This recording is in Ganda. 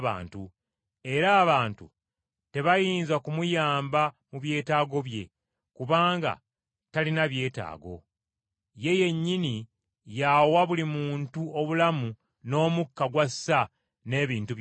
era abantu tebayinza kumuyamba mu byetaago bye, kubanga talina byetaago! Ye yennyini y’awa buli muntu obulamu n’omukka gw’assa n’ebintu byonna.